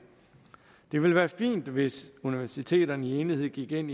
det ville være fint hvis universiteterne i enighed gik ind